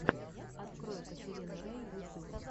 открой катерину рей ютюб